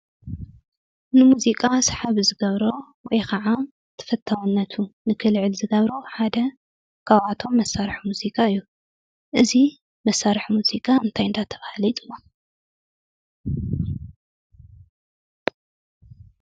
ንሙዚቃ ሰሓቢ ዝገብሮ ወይ ኸዓ ተፈታውነቱ ንኽልዕል ዝገብሮ ሓደ ካብኣቶም መሳርሒ ሙዚቃ እዩ፡፡ እዚ መሳርሒ ሙዚቃ እንታይ እንዳተባህለ ይፅዋዕ?